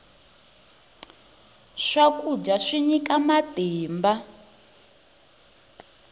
swakudya swi nyika matimba